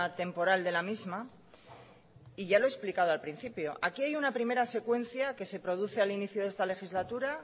temporal de la misma y ya lo he explicado al principio aquí hay una primera secuencia que se produce al inicio de esta legislatura